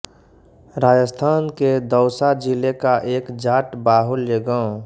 राजस्थान के दौसा जिले का एक जाट बाहुल्य गांव